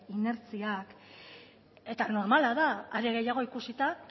inertziak eta normala da are gehiago ikusita